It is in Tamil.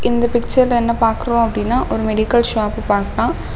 இந்த பிச்சர்ல என்ன பாக்குறோம் அப்டினா ஒரு மெடிக்கல் ஷாப்பு பாக்கலாம்.